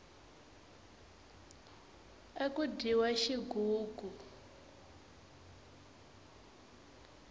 aku dyiwa xigugu